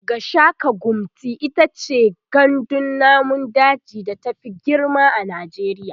Gashaka-gumti itace gandun namun daji da ta Fi girma a najeriya